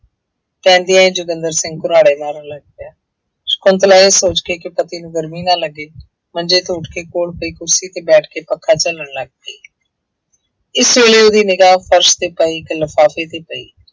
ਪੈਂਦਿਆਂ ਹੀ ਜੋਗਿੰਦਰ ਸਿੰਘ ਘਰਾੜੇ ਮਾਰਨ ਲੱਗ ਪਿਆ, ਸਕੁੰਤਲਾ ਇਹ ਸੋਚ ਕੇ ਕਿ ਪਤੀ ਨੂੰ ਗਰਮੀ ਨਾ ਲੱਗੇ ਮੰਜੇ ਤੋਂ ਉੱਠ ਕੇ ਕੋਲ ਪਈ ਕੁਰਸੀ ਤੇ ਬੈਠ ਕੇ ਪੱਖਾ ਝੱਲਣ ਲੱਗ ਪਈ ਇਸ ਵੇਲੇ ਉਹਦੀ ਨਿਗ੍ਹਾ ਫਰਸ ਤੇ ਪਏ ਇੱਕ ਲਿਫ਼ਾਫ਼ੇ ਤੇ ਪਈ।